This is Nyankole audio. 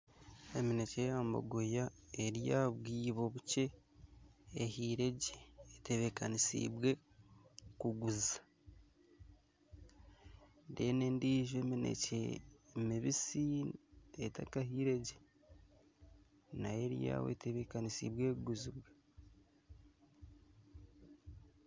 Eminekye yabogoya eri aha bwibo bukye, ehire gye etebekanisibwe kuguzibwa. Endiijo eminekye ni mibisi etakahiire gye nayo eri aho etebekanisibwe kuguzibwa.